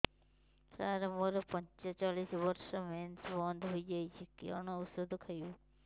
ସାର ମୋର ପଞ୍ଚଚାଳିଶି ବର୍ଷ ମେନ୍ସେସ ବନ୍ଦ ହେଇଯାଇଛି କଣ ଓଷଦ ଖାଇବି